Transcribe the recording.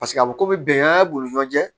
Paseke a bɛ komi bɛngan b'olu ni ɲɔgɔn cɛ